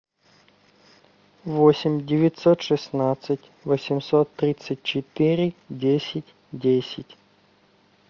восемь девятьсот шестнадцать восемьсот тридцать четыре десять десять